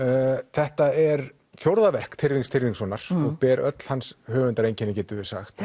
þetta er fjórða verk Tyrfings Tyrfingssonar og ber öll hans höfundareinkenni getum við sagt